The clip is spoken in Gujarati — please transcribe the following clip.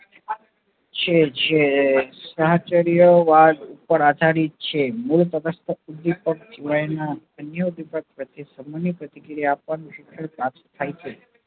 શે છે વાદ ઉપર આધારિત છે છે મૂળ અન્ય વિપક્ત પ્રત્યે ને સમૂહ ની પ્રતિક્રિયા આપવા નું શિક્ષણ પ્રાપ્ત થાય છે